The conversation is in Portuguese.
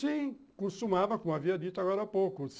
Sim, costumava, como havia dito agora há pouco.